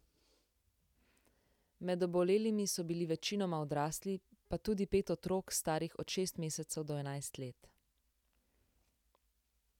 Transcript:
Med obolelimi so bili večinoma odrasli, pa tudi pet otrok, starih od šest mesecev do enajst let.